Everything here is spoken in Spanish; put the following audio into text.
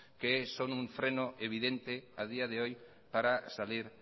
que son un freno evidente a día de hoy para salir